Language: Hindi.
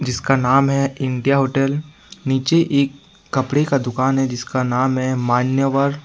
इसका नाम है इंडिया होटल नीचे एक कपड़े का दुकान है जिसका नाम है मान्यवर।